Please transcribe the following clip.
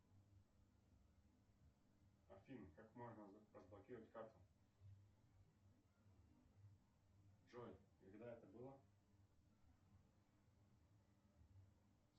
афина как можно разблокировать карту джой когда это было